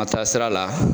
A taa sira la